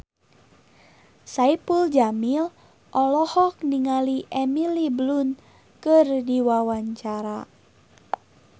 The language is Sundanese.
Saipul Jamil olohok ningali Emily Blunt keur diwawancara